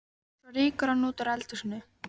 Svo rýkur hann út úr eldhúsinu.